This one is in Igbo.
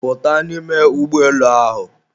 Pụta n'ime ụgbọelu ahụ!